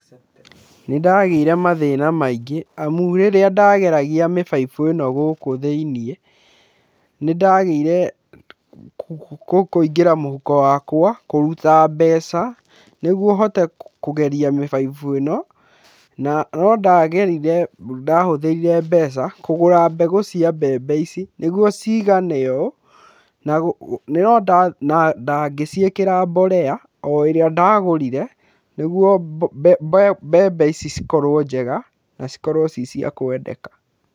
Nĩ ndagĩire mathĩna maingĩ amu rĩrĩa ndageragia mĩbaibũ ĩno gũkũ thĩiniĩ nĩ ndagĩire kuigĩra mũhuko wakwa kũruta mbeca nĩguo hote kũgeria mĩbaibũ ĩno na no ndahũthĩrire mbeca kũgũra mbegũ cia mbembe ici nĩguo cigane ũũ na ngĩciĩkĩra mborera ĩrĩa ndagũrire nĩguo mbembe ici cikorwo njega na cikorwo ci cia kwendeka.